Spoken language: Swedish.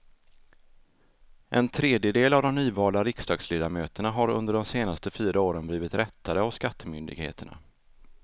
En tredjedel av de nyvalda riksdagsledamöterna har under de senaste fyra åren blivit rättade av skattemyndigheterna.